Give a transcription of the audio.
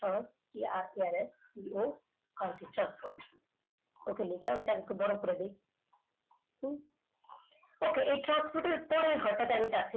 সহজ RTRR কালকে job করছ ok লিখলাম একটু বড় করে দি এই transporter পরের ঘরটাতে যাচ্ছি